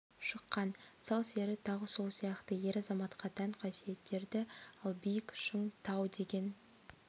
шыққан сал сері тағы сол сияқты ер азаматқа тән қасиеттерді ал биік шың тау деген